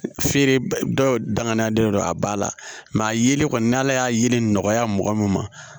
Feere dɔw danganiya de don a ba la a yelen kɔni n'ala y'a yelen nɔgɔya mɔgɔ min ma